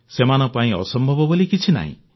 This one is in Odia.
ସେମାନଙ୍କ ପାଇଁ ଅସମ୍ଭବ ବୋଲି କିଛି ନାହିଁ